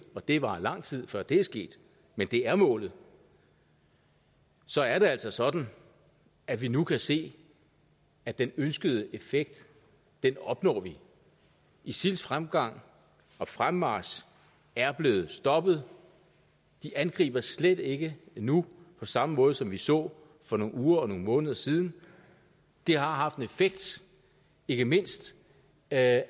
og det varer lang tid før det er sket men det er målet så er det altså sådan at vi nu kan se at den ønskede effekt opnår vi isils fremgang og fremmarch er blevet stoppet de angriber slet ikke nu på samme måde som vi så for nogle uger og nogle måneder siden det har haft en effekt ikke mindst at